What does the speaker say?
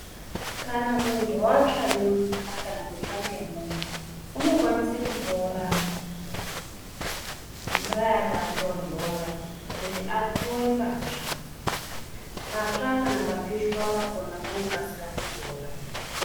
Kana muntu atsva ngemvura kana kutsva ngemwoto, unokwanisa kutora mvura yakatonhora kuti atowe patsva. Patsva kana papishwa pakhona panokasira kupora.